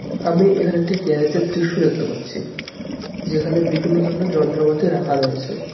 আমি এখানে একটি গ্যারেজের দৃশ্য দেখতে পাচ্ছি যেখানে বিভিন্ন ধরনের যন্ত্রপাতি রাখা রয়েছে .